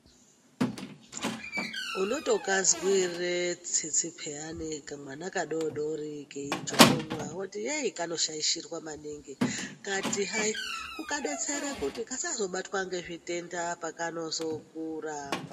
Unoto kazwire tsitsi peyani kamwana ka dodori kei jokonywa woti yeyi kano shaishirwa maningi ngati hai kuka detsera kuti kasazo batwa nge zvitenda pakano zokura.